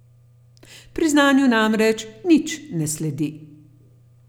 Priznanju namreč nič ne sledi.